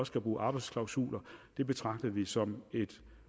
skal bruge arbejdsklausuler betragter vi som et